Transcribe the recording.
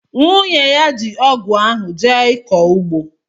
nwunye ya ji ọgụ ahụ jee ịkọ ugbo.